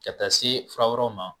Ka taa se fura wɛrɛw ma.